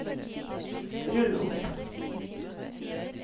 rull opp